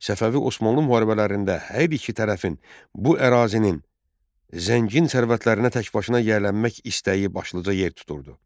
Səfəvi Osmanlı mübarizələrində hər iki tərəfin bu ərazinin zəngin sərvətlərinə tək başına yiyələnmək istəyi başlıca yer tuturdu.